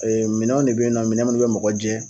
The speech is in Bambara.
Ee minɛnw de be na minɛn minnu be mɔgɔ jɛ